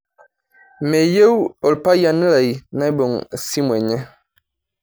Meyieu orpayan lai nabung esimu enye.